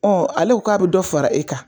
ale ko k'a iɛ dɔ fara e kan